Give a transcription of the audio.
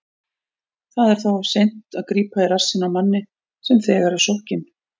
Það er þá of seint að grípa í rassinn á manni sem þegar er sokkinn.